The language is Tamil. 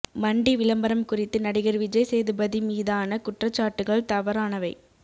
மண்டி விளம்பரம் குறித்து நடிகர் விஜய் சேதுபதி மீதான குற்றச்சாட்டுகள் தவறானவை